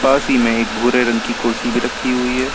पास ही में एक भूरे रंग की कुर्सी भी रखी हुई है।